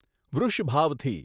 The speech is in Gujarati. વૃષભાવથી